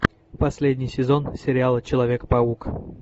последний сезон сериала человек паук